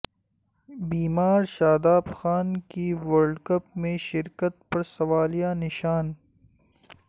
بیمار شاداب خان کی world cup میں شرکت پر سوالیہ نشان